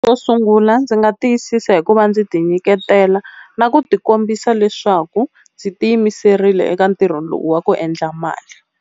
Xo sungula ndzi nga tiyisisa hikuva ndzi ti nyiketela na ku ti kombisa leswaku ndzi tiyimiserile eka ntirho lowu wa ku endla mali.